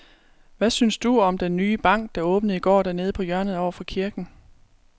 Hvad synes du om den nye bank, der åbnede i går dernede på hjørnet over for kirken?